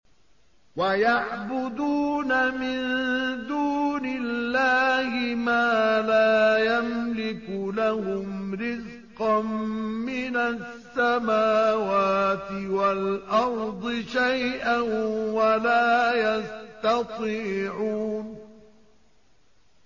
وَيَعْبُدُونَ مِن دُونِ اللَّهِ مَا لَا يَمْلِكُ لَهُمْ رِزْقًا مِّنَ السَّمَاوَاتِ وَالْأَرْضِ شَيْئًا وَلَا يَسْتَطِيعُونَ